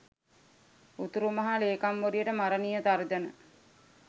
උතුරු මහ ලේකම්වරියට මරණීය තර්ජන